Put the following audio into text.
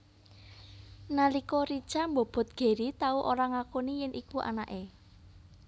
Nalika Richa mbobot Gary tau ora ngakoni yèn iku anaké